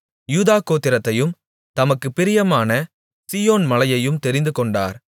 யூதா கோத்திரத்தையும் தமக்குப் பிரியமான சீயோன் மலையையும் தெரிந்துகொண்டார்